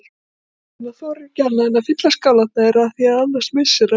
En hann þorir ekki annað en að fylla skálarnar þeirra afþvíað annars missir hann vinnuna.